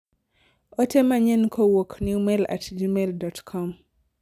ote manyien kowuok newmail at gmail.com